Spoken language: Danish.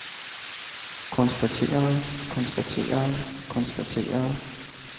konstaterede konstaterede konstaterede